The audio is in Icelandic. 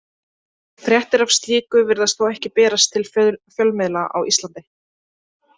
Fréttir af slíku virðast þó ekki berast til fjölmiðla á Íslandi.